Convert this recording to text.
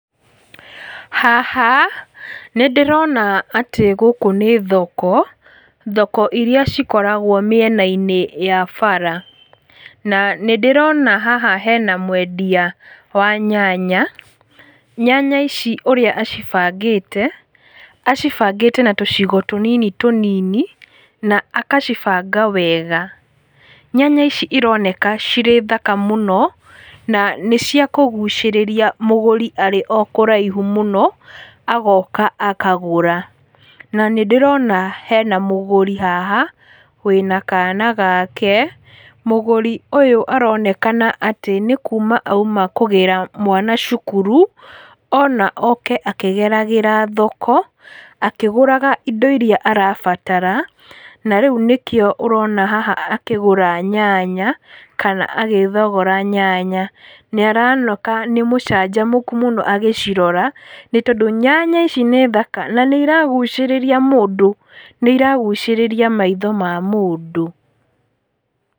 Haha, nĩndĩronaatĩ gũkũ nĩ thoko, thoko iria cikoragwo mĩena-inĩ ya bara, na nĩndĩrona haha hena mwendia wa nyanya, nyanya ici ũrĩa acibangĩte, acibangĩte na tũcigo tũnini tũnini, na akacibanga wega, nyenya ici ironeka cirĩ thaka mũno, na nĩciakũgucĩrĩria mũgũri arĩ o kũraihu mũno, agoka akagũra, na nĩndĩrona hena mũgũri haha, wĩna kana gake, mũgũri ũyũ aronekana atĩ nĩkuma auma kũgĩra mwana cukuru, ona oke akĩgeragĩra thoko, akĩgũraga indo iria arabatara, na rĩu nĩkĩo ũrona haha akĩgũra nyanya, kana agĩthogora nyanya, nĩaroneka nĩ mũanjamũku mũno agĩcirora, nĩtondũ, nyanya ici nĩ thaka na nĩiragucĩrĩria mũndũ, nĩiragucĩrĩria maitho ma mũndũ.